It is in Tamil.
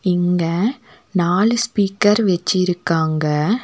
இங்க நாலு ஸ்பீக்கர் வச்சிருக்காங்க.